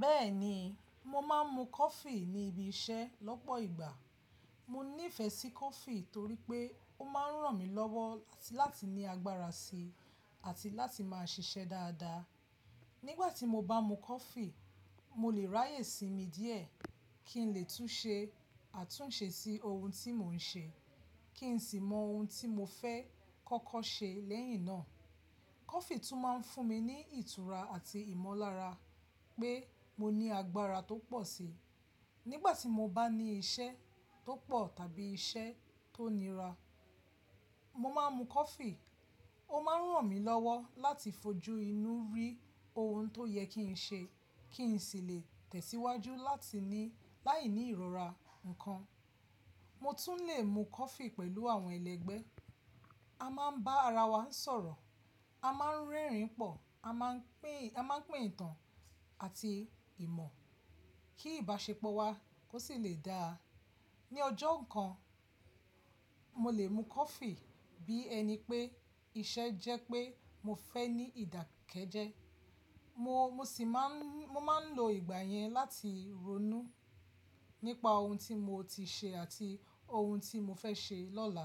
Bẹ́ẹ̀ni, mo máa ń mu coffee ní ibi iṣẹ́ lọ́pọ̀ ìgbà. Mo nífẹ̀ẹ́ sí coffee torí pé ó máa ń ràn mí lọ́wọ́ láti ní agbára sí àti láti máa ṣiṣẹ́ dáadáa. Nígbà tí mo bá mu coffee, mo lè ráyè sí mi díẹ̀ kí n lè tún ṣe àtúnṣe sí ohun tí mò ń ṣe, kí n sì mọ ohun tí mo fẹ́ kọ́kọ́ ṣe lẹ́yìn náà. Coffee tún máa ń fún mi ní ìtura àti ìmọ̀lára pé mo ní agbára tó pọ̀ síi. Nígbà tí mo bá ní iṣẹ́ tó pọ̀ tàbí iṣẹ́ tó nira, mo máa ń mu coffee, ó máa ń ràn mí lọ́wọ́ láti fojú inú rí ohun tó yẹ kí n ṣe kí n sì lè tẹ̀síwájú láì ní ìrora kan kan. Mo tún lè mu coffee pẹ̀lú àwọn ẹlẹgbẹ́. A máa ń bá ara wa sọ̀rọ̀, a máa ń rẹ́rìn-ín pọ̀, a máa ń pín ìtàn àti ìmọ̀ kí ìbáṣepọ̀ wa kó sì lè dáa. Ni ọjọ́ kan, mo lè mu coffee bí ẹni pé iṣẹ́ jẹ́ pé mo fẹ́ ní ìdákẹ́jẹ́. Mo sì máa ń mo ma n lo ìgbà yẹn láti ronú nípa ohun tí mo ti ṣe àti ohun tí mo fẹ́ ṣe lọ́la.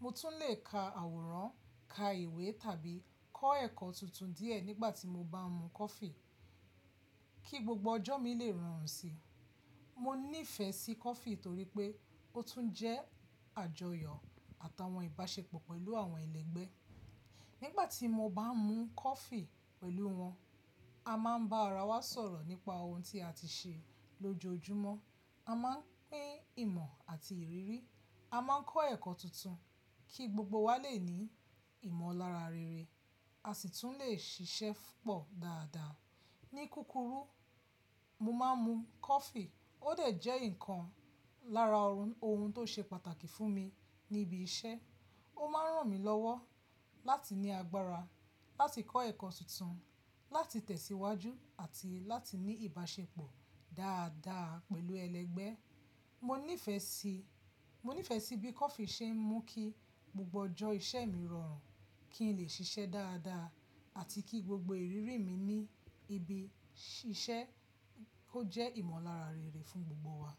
Mo tún lè ka àwòrán, ka ìwé tàbí kọ́ ẹ̀kọ́ tuntun díẹ̀ nígbà tí mo bá ń mu coffee kí gbogbo ọjọ́ mi lè rọrùn si. Mo nífẹ̀ẹ́ sí coffee torí pé ó tún jẹ́ àjọyọ̀ àtàwọn ìbáṣepọ̀ pẹ̀lú àwọn ẹlẹgbẹ́. Nígbà tí mo bá ń mu coffee pẹ̀lú wọn, a máa ń bá ara wa sọ̀rọ̀ nípa ohun tí a ti ṣe lójoojúmọ́, a máa ń pín ìmọ̀ àti ìrírí, a máa ń kọ́ ẹ̀kọ́ tuntun kí gbogbo wa lè ní ìmọ̀lára rere a sì tún lè ṣiṣẹ́ pọ̀ dáadáa. Ní kúrúkù, mo máa ń mu coffee ó dẹ̀ jẹ́ ǹkan lára ohun tó ṣe pàtàkì fún mi ní ibi iṣẹ́. Ó máa ń ràn mí lọ́wọ́ láti ní agbára láti kọ́ ẹ̀kọ́ tuntun, láti tẹ̀síwájú àti láti ní ìbáṣepọ̀ dáadáa pẹ̀lú ẹlẹgbẹ́. Mo nife si Mo nífẹ̀ẹ́ sí bí coffee ṣe ń mú kí gbogbo ọjọ́ iṣẹ́ mi rọrùn, kí n lè ṣiṣẹ́ dáadáa àti kí gbogbo ìrírí mi ní ibi iṣẹ́ ó jẹ́ ìmọ̀lára rere fún gbogbo wa.